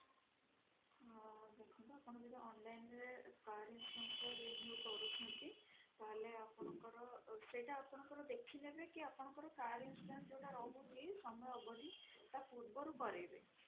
ହଁ ଦେଖନ୍ତୁ ଆପଣ ଯଦି online ରେ car insurance ର renew କରୁଛନ୍ତି ତାହେଲେ ଦେଖିନେବେ କି car insurance ରହୁଛି ତା ପୂର୍ବରୁ ରହୁଛି